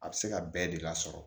A bɛ se ka bɛɛ de lasɔrɔ